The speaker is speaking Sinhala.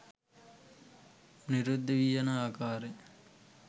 නිරුද්ධ වී යන ආකාරය